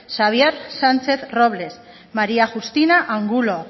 xabier sánchez robles maría justina angulo